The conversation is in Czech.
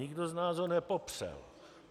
Nikdo z nás ho nepopřel.